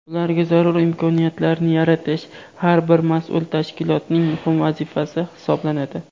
Ularga zarur imkoniyatlarni yaratish har bir mas’ul tashkilotning muhim vazifasi hisoblanadi.